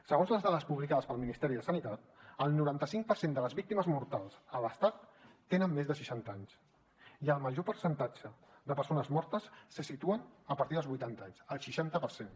segons les dades publicades pel ministeri de sanitat el noranta cinc per cent de les víctimes mortals a l’estat tenen més de seixanta anys i el major percentatge de persones mortes se situen a partir dels vuitanta anys el seixanta per cent